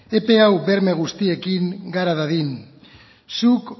epe hau berme guztiekin gara dadin zuk